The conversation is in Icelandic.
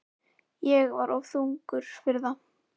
Ég var of þungur fyrir það.